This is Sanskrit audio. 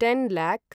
ten lock